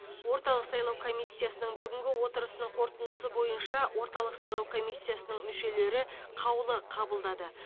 орталық сайлау комиссиясының бүгінгі отырысының қорытындысы бойынша орталық сайлау комиссиясының мүшелері қаулы қабылдады